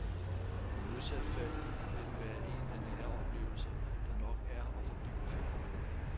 I modsat fald vil den være en af nære oplevelser, der nok er og forbliver fjerne.